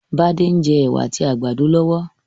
Bádé n je èwà àtí àgbàdo lọ́wọ́